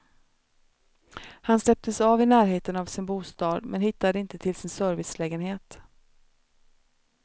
Han släpptes av i närheten av sin bostad men hittade inte till sin servicelägenhet.